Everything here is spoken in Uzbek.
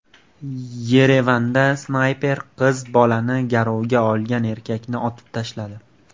Yerevanda snayper qiz bolani garovga olgan erkakni otib tashladi.